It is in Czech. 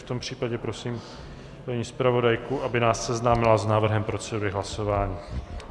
V tom případě prosím paní zpravodajku, aby nás seznámila s návrhem procedury hlasování.